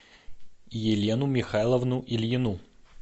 елену михайловну ильину